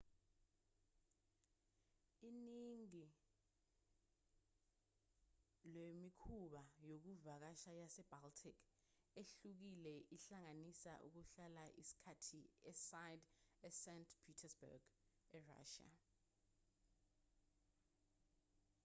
iningi lwemikhumbi yokuvakasha yase-baltic ehlukile ihlanganisa ukuhlala isikhathi eside e-st petersburg e-russia